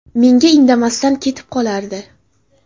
Menga indamasdan ketib qolardi.